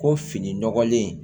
Ko fini nɔgɔlen